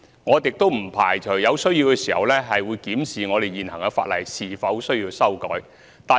我們也不排除在有需要時會檢視是否須修改現行法例。